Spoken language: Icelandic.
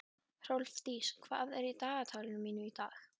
Hrólfdís, hvað er í dagatalinu mínu í dag?